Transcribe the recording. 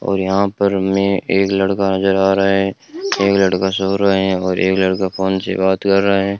और यहां पर हमें एक लड़का नजर आ रहा है एक लड़का सो रहा है और एक लड़का फोन से बात कर रहा है।